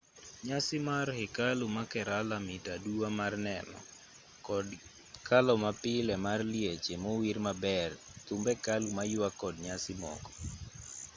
nyasi mar hekalu ma kerala mit aduwa mar neno kod kalo mapile mar lieche mowir maber thumb hekalu mayuak kod nyasi moko